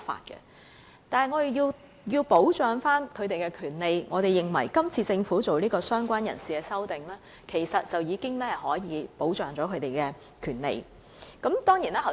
然而，我們仍要保障他們的權利，我們認為政府是次就"相關人士"提出的修正案已可保障他們的權利。